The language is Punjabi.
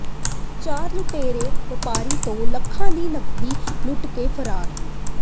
ਚਾਰ ਲੁਟੇਰੇ ਵਪਾਰੀ ਤੋਂ ਲੱਖਾਂ ਦੀ ਨਕਦੀ ਲੁੱਟ ਕੇ ਫਰਾਰ